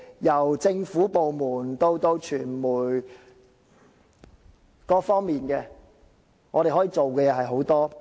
由政府部門以至傳媒等各方面，可以做到的事情其實是有很多的。